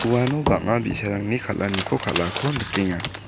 uano bang·a bi·sarangni kal·aniko kal·ako nikenga.